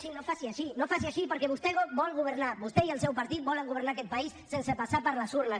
sí no faci així no faci així perquè vostè vol governar vostè i el seu partit volen governar aquest país sense passar per les urnes